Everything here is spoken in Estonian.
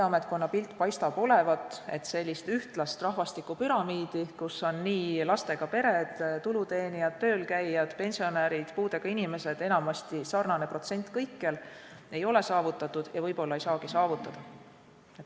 Ühtlast rahvastikupüramiidi, kus on nii lastega pered, tuluteenijad, töölkäijad, pensionärid, puudega inimesed, ja enamasti on neid sarnane protsent kõikjal, ei ole saavutatud ja võib-olla ei saagi saavutada.